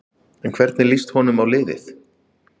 En hvernig líst honum á liðið?